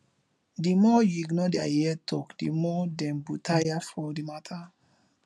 di more you ignore their yeye talk di more dem go tire for di matter